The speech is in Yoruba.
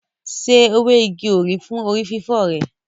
Se ewé igi òrí fún orí fífọ́ rẹ.